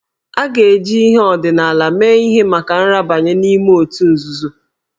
A ga-eji ihe ọdịnala mee ihe maka nrabanye n'ime otu nzuzo